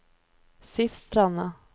Sistranda